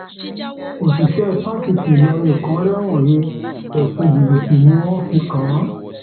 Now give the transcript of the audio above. òṣìṣẹ fásitì ìlọrin kan rẹwọn he ẹsùn jìbìtì ni wọn fi kàn án